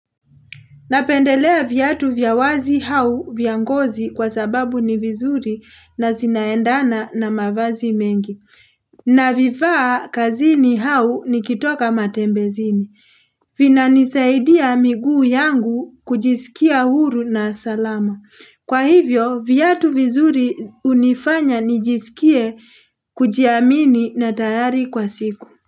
Napendelea viatu vya wazi au vya ngozi kwa sababu ni vizuri na zinaendana na mavazi mengi. Navifaa kazini au nikitoka matembezini. Vinanisaidia miguu yangu kujisikia huru na salama. Kwa hivyo, viatu vizuri unifanya nijisikie kujiamini na tayari kwa siku.